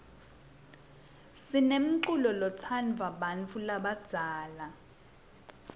sinemculo lotsndvwa bantfu labadzala